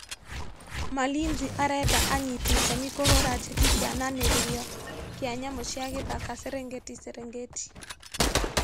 Malinzi arenda anyiti itemi kuhũra jeki kĩananĩrio kĩa nyamũ cia gĩthaka Serengeti Serengeti